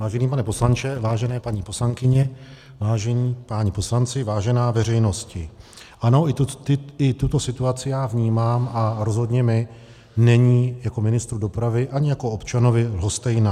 Vážený pane poslanče, vážené paní poslankyně, vážení páni poslanci, vážená veřejnosti, ano, i tuto situaci já vnímám a rozhodně mi není jako ministru dopravy ani jako občanovi lhostejná.